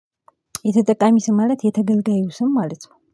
የተጠቃሚ ስም ማለት የተገልጋዩ ስም ማለት ነው